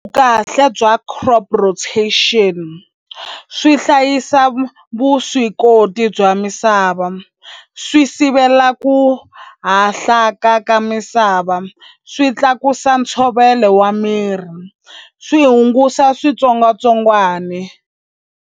Vukahle bya crop rotation swi hlayisa vuswikoti bya misava swi sivela ku hahlaka ka misava swi tlakusa ntshovelo wa miri swi hungusa switsongwatsongwani.